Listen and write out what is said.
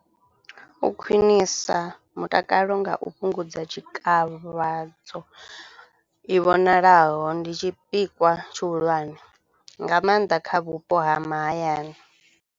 U khwiṋisa mutakalo nga u fhungudza tshikavhadzo i vhonalaho, ndi tshipikwa tshihulwane nga mannḓa kha vhupo ha mahayani.